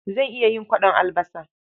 Zan iya yin kwaɗon albasa.